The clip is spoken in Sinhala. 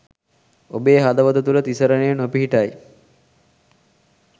ඔබේ හදවත තුළ තිසරණය නොපිහිටයි.